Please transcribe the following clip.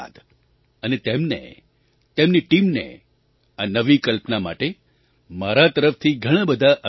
અને તેમને તેમની ટીમને આ નવી કલ્પના માટે મારા તરફથી ઘણા બધા અભિનંદન